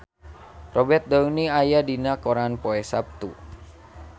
Robert Downey aya dina koran poe Saptu